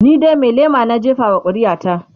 ni dai Mai lema na jefa wa ƙuri'a ta